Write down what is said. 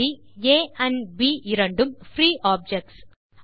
புள்ளி ஆம்ப்ப் இரண்டும் free objects